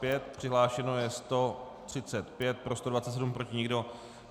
Přihlášeno je 135, pro 127, proti nikdo.